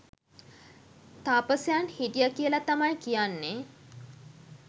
තාපසයන් හිටිය කියල තමයි කියන්නේ